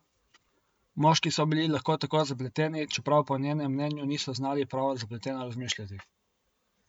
Moški so bili lahko tako zapleteni, čeprav po njenem mnenju niso znali prav zapleteno razmišljati.